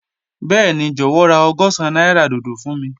Bẹẹni, jọwọ ra ọgọ́sán naira dodo fun mi.